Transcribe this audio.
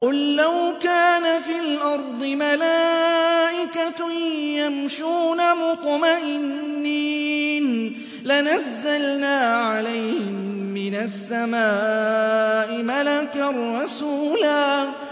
قُل لَّوْ كَانَ فِي الْأَرْضِ مَلَائِكَةٌ يَمْشُونَ مُطْمَئِنِّينَ لَنَزَّلْنَا عَلَيْهِم مِّنَ السَّمَاءِ مَلَكًا رَّسُولًا